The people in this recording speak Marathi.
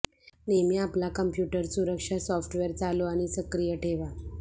नेहमी आपला कॉम्प्यूटर सुरक्षा सॉफ्टवेअर चालू आणि सक्रिय ठेवा